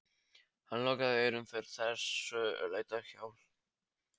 Hann lokaði eyrunum fyrir þessu létta hjali.